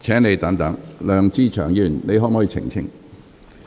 梁志祥議員，你可否澄清？